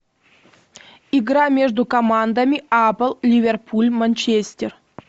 игра между командами апл ливерпуль манчестер